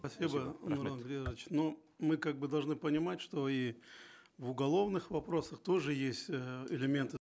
спасибо юрий андреевич но мы как бы должны понимать что и в уголовных вопросах тоже есть э элементы